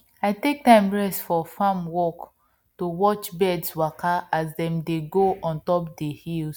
i take time rest for farm work to watch birds waka as dem dey go ontop dey hills